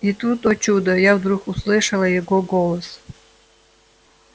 и тут о чудо я вдруг услышала его голос